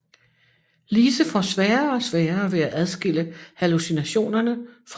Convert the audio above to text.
Lise får sværere og sværere ved at adskille hallucinationerne fra virkelige begivenheder